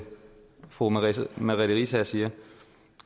fru merete riisager siger